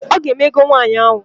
Ọga eme egow nwaanyi ahu.